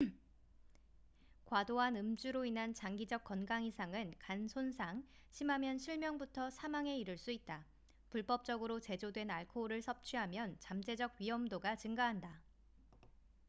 과도한 음주로 인한 장기적 건강 이상은 간 손상 심하면 실명부터 사망에 이를 수 있다 불법적으로 제조된 알코올을 섭취하면 잠재적 위험도가 증가한다